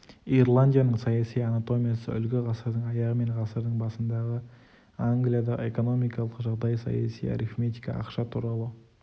ирландияның саяси анатомиясы үлгі ғасырдың аяғы мен ғасырдың басындағы англиядағы экономикалық жағдай саяси арифметика ақша туралы